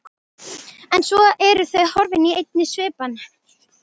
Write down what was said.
En svo eru þau horfin í einni svipan.